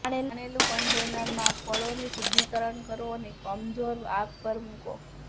દાણેલું કન્ટેનરમાં ફળોની શુદ્ધિકરણ કરો અને કમજોર આગ પર મૂકો